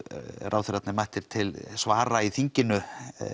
ráðherrarnir mættir til svara í þinginu